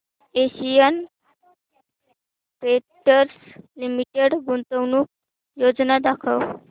Asian Paints Limited गुंतवणूक योजना दाखव